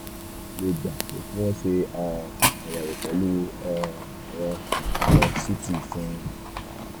um ó tiẹ̀ lè gba pé kí wọ́n ṣe um ayewo pẹ̀lú um ẹ̀rọ ẹ̀rọ ct fún un